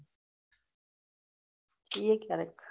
ઈ એ ક્યારેક.